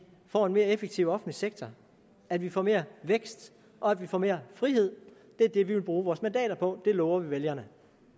får en mere effektiv offentlig sektor at vi får mere vækst og at vi får mere frihed det er det vi vil bruge vores mandater på det lover vi vælgerne